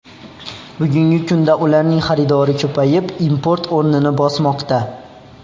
Bugungi kunda ularning xaridori ko‘payib, import o‘rnini bosmoqda.